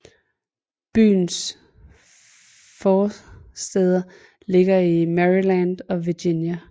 Byens forstæder ligger i Maryland og Virginia